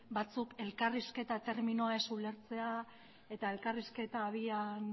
batzuk elkarrizketa terminoa ez ulertzea eta elkarrizketa abian